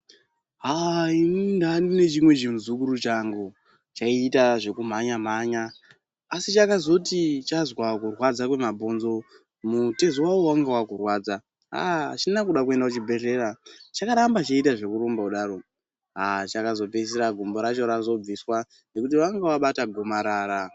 Aaah inini ndanga ndine chimwe chimuzukuru changu chayiita zvekumhanya mhanya asi chakazoti chazwa kurwadza kwemabhonzo mutezo wawo wanga wakurwadza aah achina kuda kuenda kuchibhehleya chakaramba cheita zvekurumba kudaro aah chakazopedzisira gumbo racho razobviswa nekuti vanga vabata gomarara.